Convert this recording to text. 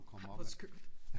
Ej hvor skørt